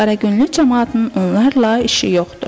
Qaragüllü camaatının onlarla işi yoxdur.